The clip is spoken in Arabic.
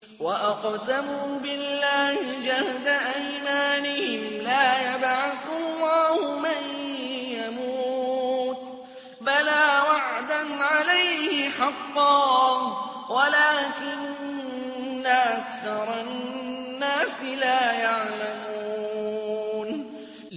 وَأَقْسَمُوا بِاللَّهِ جَهْدَ أَيْمَانِهِمْ ۙ لَا يَبْعَثُ اللَّهُ مَن يَمُوتُ ۚ بَلَىٰ وَعْدًا عَلَيْهِ حَقًّا وَلَٰكِنَّ أَكْثَرَ النَّاسِ لَا يَعْلَمُونَ